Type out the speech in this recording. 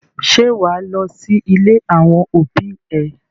Ṣé wà á lọ sí ilé àwọn òbí ẹ?